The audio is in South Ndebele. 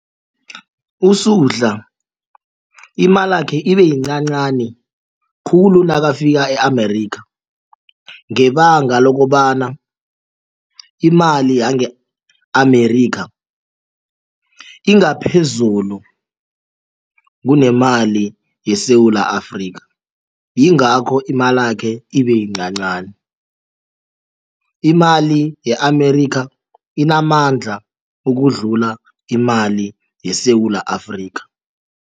USuhla imalakhe ibe yincancani khulu nakafika e-Amerika ngebanga lokobana imali yange-Amerika ingaphezulu kunemali yeSewula Afrika yingakho imalakhe ibe yincancani. Imali ye-Amerika inamandla ukudlula imali yeSewula Afrika.